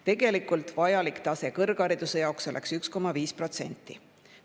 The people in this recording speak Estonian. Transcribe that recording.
Tegelikult oleks vajalik tase 1,5%.